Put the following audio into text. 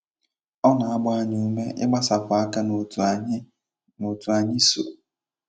O na - agba anyị ume ịgbasapụ aka n' otu anyị n' otu anyị so.